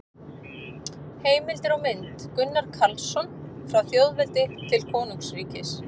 Heimildir og mynd: Gunnar Karlsson: Frá þjóðveldi til konungsríkis